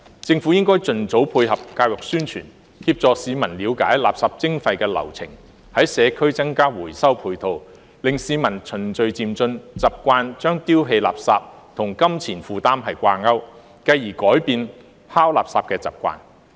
政府應盡早配合教育宣傳，協助市民了解垃圾徵費的流程，在社區增加回收配套，令市民循序漸進，習慣將丟棄垃圾與金錢負擔掛鈎，繼而改變拋垃圾的習慣。